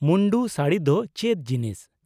ᱢᱩᱱᱰᱩ ᱥᱟᱹᱲᱤ ᱫᱚ ᱪᱮᱫ ᱡᱤᱱᱤᱥ ?